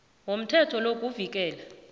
womthetho lo kuvikela